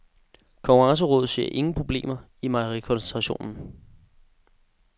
Konkurrencerådet ser ingen problemer i mejerikoncentrationen.